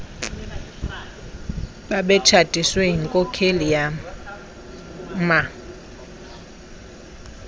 babetshatiswe yinkokheli yama